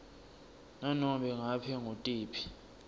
nanobe ngabe ngutiphi